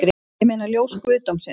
Ég meina ljós guðdómsins